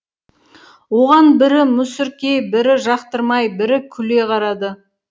оған бірі мүсіркей бірі жақтырмай бірі күле қарады